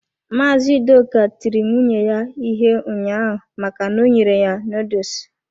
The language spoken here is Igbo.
Mazị Udoka tiri nwunye ya ihe ụnyaahụ maka na o nyere ya noodles.